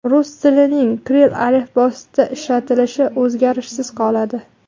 Rus tilining kirill alifbosida ishlatilishi o‘zgarishsiz qoladi.